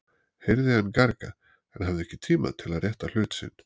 heyrði hann gargað, en hafði ekki tíma til að rétta hlut sinn.